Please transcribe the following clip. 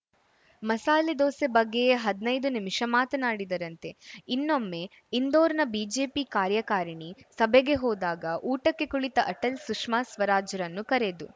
ಮಸಾಲೆ ದೋಸೆ ಬಗ್ಗೆಯೇ ಹದ್ನೈದು ನಿಮಿಷ ಮಾತನಾಡಿದರಂತೆ ಇನ್ನೊಮ್ಮೆ ಇಂದೋರ್‌ನ ಬಿಜೆಪಿ ಕಾರ್ಯಕಾರಿಣಿ ಸಭೆಗೆ ಹೋದಾಗ ಊಟಕ್ಕೆ ಕುಳಿತ ಅಟಲ್‌ ಸುಷ್ಮಾ ಸ್ವರಾಜ್‌ರನ್ನು ಕರೆದು